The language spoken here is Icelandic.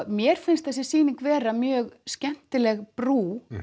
mér finnst þessi sýning vera mjög skemmtileg brú